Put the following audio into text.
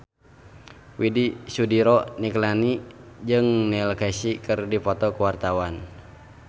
Widy Soediro Nichlany jeung Neil Casey keur dipoto ku wartawan